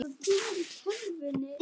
Það olli nokkrum usla.